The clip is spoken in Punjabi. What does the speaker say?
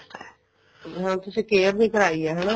ਹਾਂ ਤੁਸੀਂ ਆਪਣੀ care ਵੀ ਕਰਾਈ ਹੈ ਹਨਾ